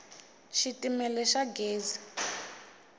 xitimela xa gezi